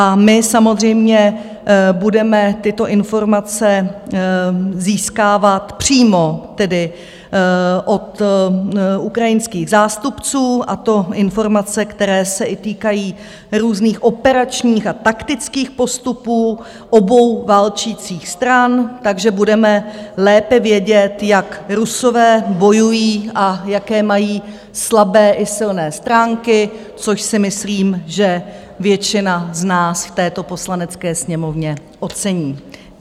A my samozřejmě budeme tyto informace získávat přímo tedy od ukrajinských zástupců, a to informace, které se týkají i různých operačních a taktických postupů obou válčících stran, takže budeme lépe vědět, jak Rusové bojují a jaké mají slabé i silné stránky, což si myslím, že většina z nás v této Poslanecké sněmovně ocení.